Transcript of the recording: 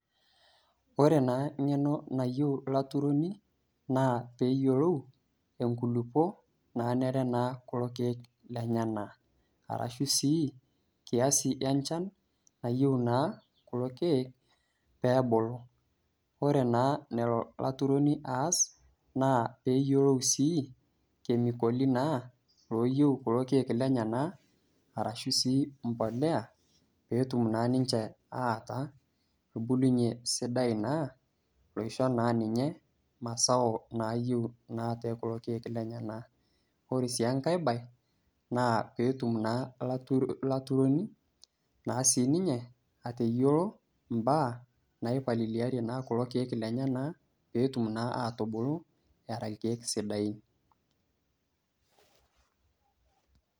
Ore naa eng'eno nayiou olaturoni naa peyiolou enkulukuok, nanare naa kulo keek lenyena, arashu sii kiazi enchan nayou naa kulo keek, pee ebulu. Ore naa enelo olaturoni aas, naa peyiolou sii kemikoli naa looyiou kulo keek llenyena, arashu sii empolea, peetum naa ninche aata embulunye sidai naisho naa ninye mazao, naa to kulo keek lenyena. Ore sii enkai baye, naa petum naa olaturoni naa sii ninye atayilou imbaa naipaliliarie naa kulo keek llenyena, peetum naa atubulu era ilkeek sidain.